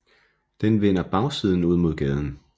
Den vender bagsiden ud mod gaden